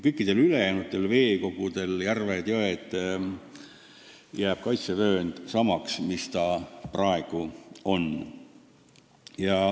Kõikidel ülejäänud veekogudel – järved, jõed – jääb kaitsevöönd samaks, mis praegu on.